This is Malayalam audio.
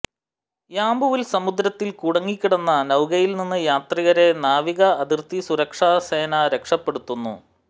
യാമ്പുവിൽ സമുദ്രത്തിൽ കുടുങ്ങിക്കിടന്ന നൌകയിൽനിന്ന് യാത്രികരെ നാവിക അതിർത്തി സുരക്ഷാസേന രക്ഷപ്പെടുത്തുന്നു